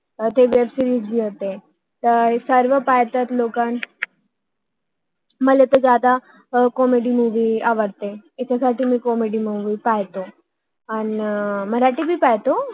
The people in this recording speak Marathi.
ती वेबी सिरीज web series जी असते हम्म तर लोक सर्व पाहतात मला जास्त कॉमेडी comedy मुवि movie आवडतात आह याकरता मी कॉमेडी comedy मुवि बघते हम्म आणि मराठी पण बघते